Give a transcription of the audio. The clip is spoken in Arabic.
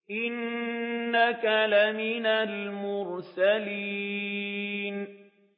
إِنَّكَ لَمِنَ الْمُرْسَلِينَ